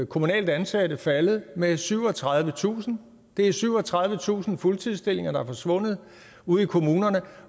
kommunalt ansatte faldet med syvogtredivetusind det er syvogtredivetusind fuldtidsstillinger der er forsvundet ude i kommunerne